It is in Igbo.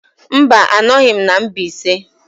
Mba, anọghị m na Mbaise.